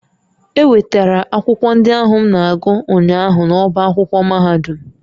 E nwetara akwụkwọ ndị ahụ m na-agụ ụnyaahụ n'ọ́bá akwụkwọ mahadum